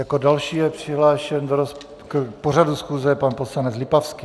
Jako další je přihlášen k pořadu schůze pan poslanec Lipavský.